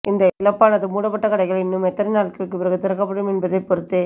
இந்த இழப்பானது மூடப்பட்ட கடைகள் இன்னும் எத்தனை நாட்களுக்கு பிறகு திறக்கப்படும் என்பதை பொறுத்தே